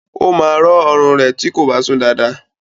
Ó máa rọ̀ọ ọrùn rẹ̀ tí kò bá sùn dáadáa